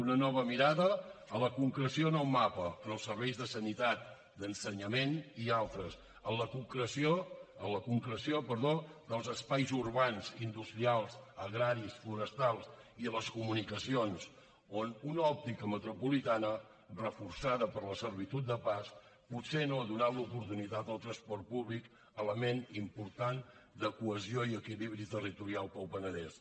una nova mirada a la concreció en el mapa en els serveis de sanitat d’ensenyament i altres a la concreció dels espais urbans industrials agraris forestals i a les comunicacions on una òptica metropolitana reforçada per la servitud de pas potser no ha donat l’oportunitat al transport públic element important de cohesió i equilibri territorial per al penedès